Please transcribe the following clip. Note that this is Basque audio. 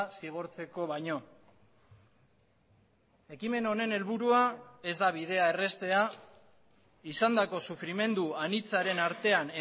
zigortzeko baino ekimen honen helburua ez da bidea erraztea izandako sufrimendu anitzaren artean